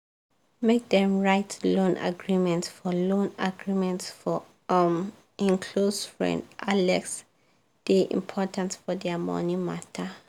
make dem write loan agreement for loan agreement for um hin close friend alex dey important for their money matter